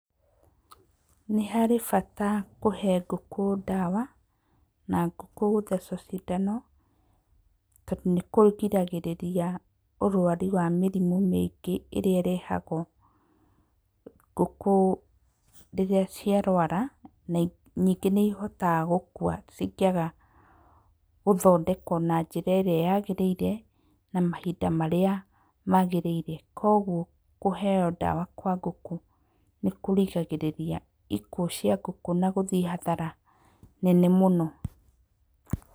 Nĩ harĩ bata kũhe ngũkũ ndawa na ngũkũ gũthecwo cindano tondũ nĩ kũrigagĩrĩria ũrwari wa mĩrimũ mĩingĩ ĩrĩa ĩrehagwo ngũkũ rĩrĩa ciarwara na nyingĩ nĩ cihotaga gũkua cingĩaga gũthondekwo na njĩra ĩrĩa yagĩrĩire na mahinda marĩa magĩrĩire. Kũoguo kũheo ndawa kwa ngũkũ nĩ kũrigagĩrĩria ikuũ cia ngũkũ na gũthiĩ hathara nene mũno.